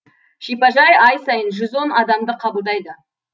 шипажай ай сайын жүз он адамды қабылдайды